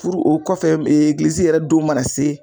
Puru o kɔfɛ egilizi yɛrɛ don mana se